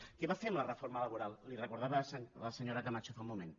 què va fer amb la reforma laboral li ho recordava la senyora camacho fa un moment